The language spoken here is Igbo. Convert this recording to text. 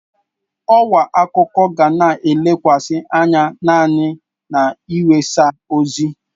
Ọwa akụkọ ga na-elekwasị anya naanị n'iwesa ozi.